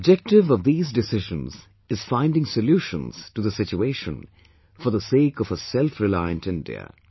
The objective of these decisions is finding solutions to the situation, for the sake of a selfreliant India